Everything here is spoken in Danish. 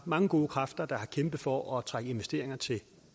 mange gode kræfter der har kæmpet for at trække investeringer til